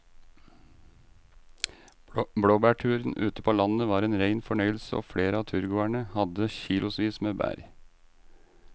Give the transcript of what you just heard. Blåbærturen ute på landet var en rein fornøyelse og flere av turgåerene hadde kilosvis med bær.